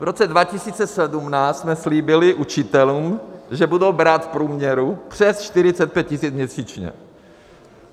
V roce 2017 jsme slíbili učitelům, že budou brát v průměru přes 45 tisíc měsíčně.